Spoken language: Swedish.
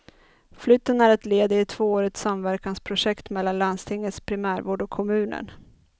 Flytten är ett led i ett tvåårigt samverkansprojekt mellan landstingets primärvård och kommunen.